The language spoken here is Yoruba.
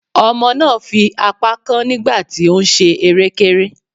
Ọmọ náà fi apá kán nígbà tí ó ń ṣe erékéré.